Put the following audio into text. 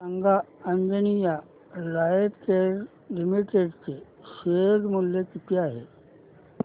सांगा Anjaneya lifecare limited चे share मूल्य किती आहे